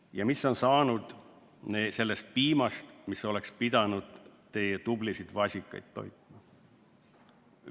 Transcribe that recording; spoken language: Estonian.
Ja mis on saanud sest piimast, mis oleks pidanud teie tublisid vasikaid toitma?